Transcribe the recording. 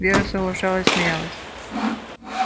вера соглашалась смеялась